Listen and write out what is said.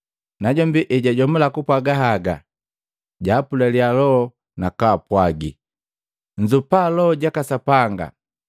Najombi ejajomula kupwaaga haga, jaapulaliya loho nakaapwagi, “Nzoopannya Loho jaka Sapanga.